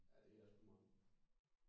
Ja det er sku mange